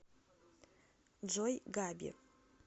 джой габи